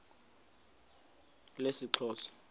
lesixhosa